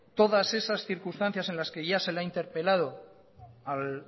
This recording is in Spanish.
todas esas circunstancias en las que ya se le ha interpelado al